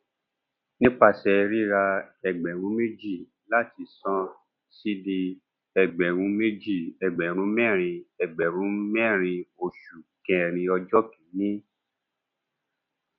nípasẹ rírà ẹgbẹrún méjì láti ṣàn cd ẹgbẹrún méjì ẹgbẹrún mẹrin ẹgbẹrún mẹrin oṣù kẹrin ọjọ kìíní